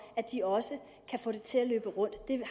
at de også kan få det til at løbe rundt det